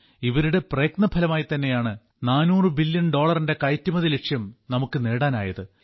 ഇവരുടെ പ്രയത്നഫലമായിത്തന്നെയാണ് 400 ബില്യൺ ഡോളറിന്റെ കയറ്റുമതിലക്ഷ്യം നമുക്ക് നേടാനായത്